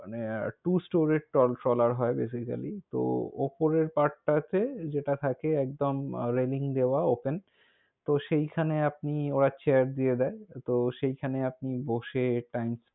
মানে, two store এই trawler হয় basically । তো অপরের part তাতে যেটা থাকে, একদম raling দেওয়া open । তো সেই খানে আপনি ওরা chair দিয়ে দেয়। তো সেই খানে আপনি বসে time,